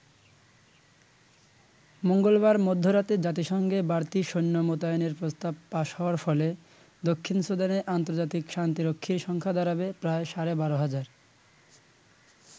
মঙ্গলবার মধ্যরাতে জাতিসংঘে বাড়তি সৈন্য মোতায়েনের প্রস্তাব পাস হওয়ার ফলে দক্ষিণ সুদানে আন্তর্জাতিক শান্তিরক্ষীর সংখ্যা দাঁড়াবে প্রায় সাড়ে বারো হাজার।